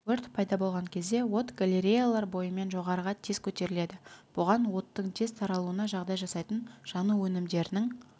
өрт пайда болған кезде от галереялар бойымен жоғарыға тез көтеріледі бұған оттың тез таралуына жағдай жасайтын жану өнімдерінің